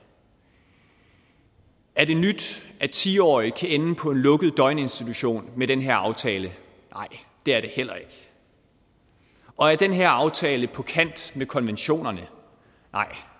er det nyt at ti årige kan ende på en lukket døgninstitution med den her aftale nej det er det heller ikke og er den her aftale på kant med konventionerne nej